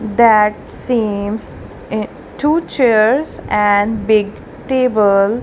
that seems two chairs and big table.